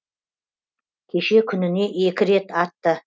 кеше күніне екі рет атты